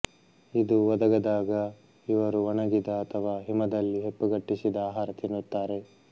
ಇದು ಒದಗದಾಗ ಇವರು ಒಣಗಿದ ಅಥವಾ ಹಿಮದಲ್ಲಿ ಹೆಪ್ಪುಗಟ್ಟಿಸಿದ ಆಹಾರ ತಿನ್ನುತ್ತಾರೆ